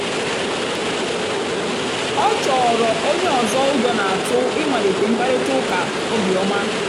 ọ́ chọ́ọ́rọ́ ónyé ọ́zọ́ ụ́jọ́ n'átụ̀ ị̀màlíté mkpàrị́tà ụ́ká óbíọ́mà.